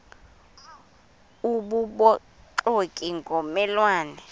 obubuxoki ngomme lwane